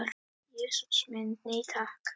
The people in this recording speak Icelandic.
Jesús minn, nei takk.